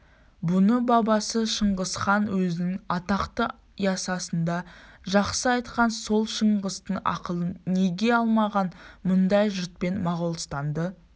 бұны бабасы шыңғысхан өзінің атақты ясысында жақсы айтқан сол шыңғыстың ақылын неге алмаған мұндай жұртпен моғолстанды